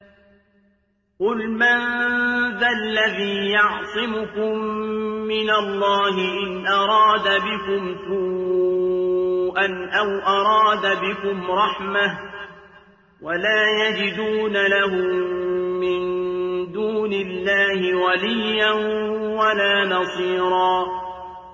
قُلْ مَن ذَا الَّذِي يَعْصِمُكُم مِّنَ اللَّهِ إِنْ أَرَادَ بِكُمْ سُوءًا أَوْ أَرَادَ بِكُمْ رَحْمَةً ۚ وَلَا يَجِدُونَ لَهُم مِّن دُونِ اللَّهِ وَلِيًّا وَلَا نَصِيرًا